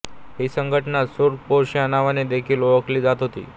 ही संघटना सुर्ख पोश या नावाने देखील ओळखली जात होती